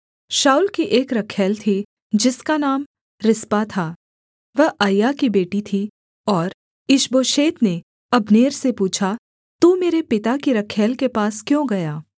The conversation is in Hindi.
शाऊल की एक रखैल थी जिसका नाम रिस्पा था वह अय्या की बेटी थी और ईशबोशेत ने अब्नेर से पूछा तू मेरे पिता की रखैल के पास क्यों गया